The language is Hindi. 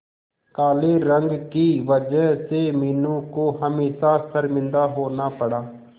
काले रंग की वजह से मीनू को हमेशा शर्मिंदा होना पड़ा